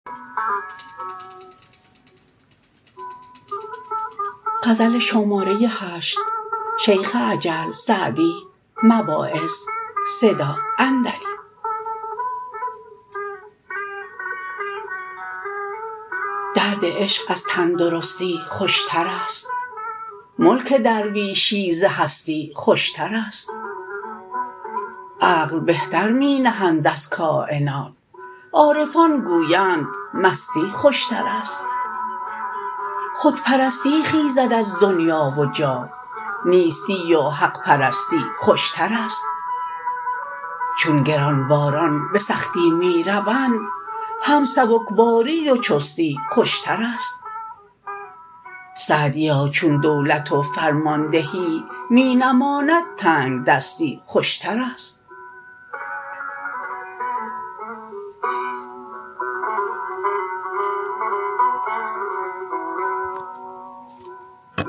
درد عشق از تندرستی خوشتر است ملک درویشی ز هستی خوشتر است عقل بهتر می نهند از کاینات عارفان گویند مستی خوشتر است خودپرستی خیزد از دنیا و جاه نیستی و حق پرستی خوشتر است چون گرانباران به سختی می روند هم سبکباری و چستی خوشتر است سعدیا چون دولت و فرماندهی می نماند تنگدستی خوشتر است